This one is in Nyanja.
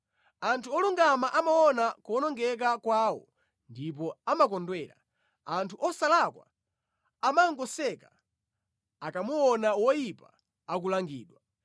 “Anthu olungama amaona kuwonongeka kwawo ndipo amakondwera; anthu osalakwa amangoseka, akamuona woyipa akulangidwa.